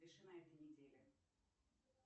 пиши на этой неделе